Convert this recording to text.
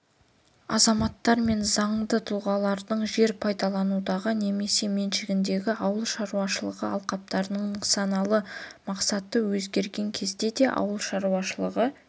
азаматтар мен заңды тұлғалардың жер пайдалануындағы немесе меншігіндегі ауыл шаруашылығы алқаптарының нысаналы мақсаты өзгерген кезде де ауыл шаруашылығы